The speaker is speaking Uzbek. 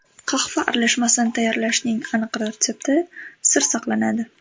Qahva aralashmasini tayyorlashning aniq retsepti sir saqlanadi!